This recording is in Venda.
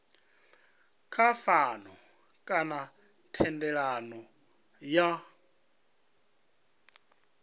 kha pfano kana thendelano ya